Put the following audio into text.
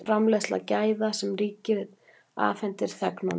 Framleiðsla gæða sem ríkið afhendir þegnunum